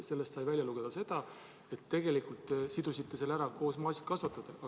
Sellest sai välja lugeda seda, et tegelikult te sidusite selle maasikakasvatajatega.